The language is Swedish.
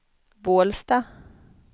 Bålsta